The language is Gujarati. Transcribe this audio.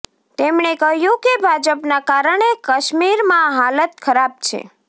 તેમણે કહ્યું કે ભાજપના કારણે કાશ્મીરમાં હાલત ખરાબ છે